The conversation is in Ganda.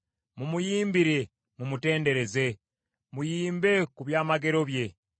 Mumuyimbire, mumutendereze; muyimbe ku byamagero bye.